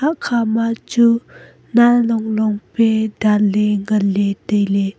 akkha ma chu nanlong long pe danle nganle taile.